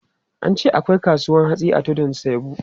An ce akwai kasuwan hatsi a Tudun Saibu.